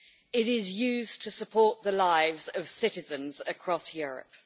It is used to support the lives of citizens across Europe.